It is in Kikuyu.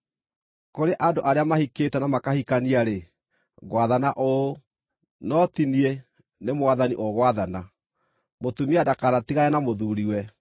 Kũrĩ andũ arĩa mahikĩte na makahikania-rĩ, ngwathana ũũ, no ti niĩ, nĩ Mwathani ũgwathana: Mũtumia ndakanatigane na mũthuuriwe.